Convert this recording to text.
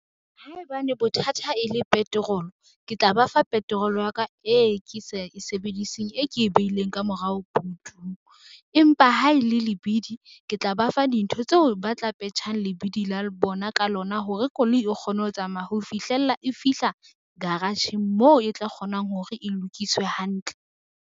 Haebane bothata e le petrol-o, ke tla ba fa petrol-o ya ka e ke sa e sebediseng e ke e beileng ka morao butung. Empa ha e le lebidi, ke tla ba fa dintho tseo ba tla petjhang lebidi la bona ka lona hore koloi e kgone ho tsamaya ho fihlella e fihla garage-ng moo e tla kgonang hore e lokiswe hantle.